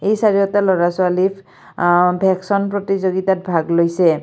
এই চাৰিওটা ল'ৰা-ছোৱালী আ ভেকচন প্ৰতিযোগিতাত ভাগ লৈছে।